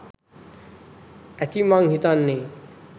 ඇති මං හිතන්නෙ?